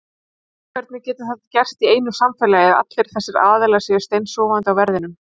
Hvernig getur þetta gerst í einu samfélagi að allir þessir aðilar séu steinsofandi á verðinum?